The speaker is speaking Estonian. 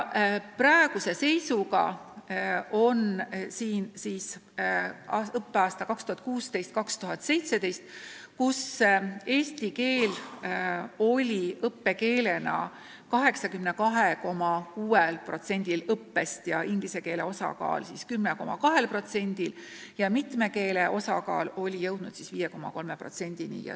Õppeaastal 2016/2017 moodustas eesti keele osakaal 82,6% ja inglise keele osakaal 10,2% ning nn mitme keele osakaal oli jõudnud 5,3%-ni.